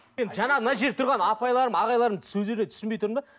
енді жаңа мына жерде тұрған апайларым ағайларым сөздеріне түсінбей тұрмын да